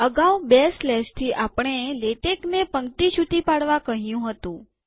અગાઉ બે સ્લેશથી આપણે લેટેકને પંક્તિ છુટી પાડવા કહ્યું હતું